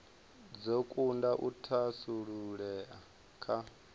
dzo kunda u thasululea kha